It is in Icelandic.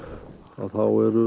þá